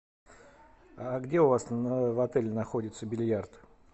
а где у вас в отеле находится бильярд